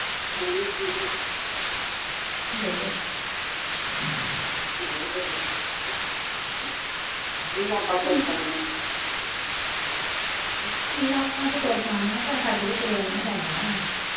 ਲਤਾ ਤਾ ਤੁਰ ਪੈਣੀਆਂ ਪਰ ਸਾਡੇ ਤੋ ਤੁਰਿਆਂ ਨੀ ਜਾਂਦਾ